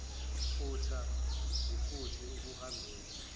futha izifutho ukuhambela